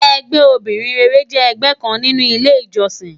Ègbè óbirin réré jè ègbè kán ninú ilé ijòsín